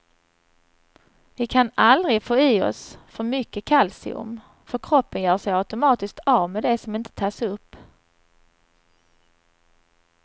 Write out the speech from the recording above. Vi kan aldrig få i oss för mycket kalcium, för kroppen gör sig automatiskt av med det som inte tas upp.